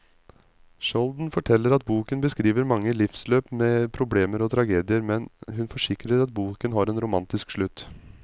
Skjolden forteller at boken beskriver mange livsløp med problemer og tragedier, men hun forsikrer at boken har en romantisk slutt.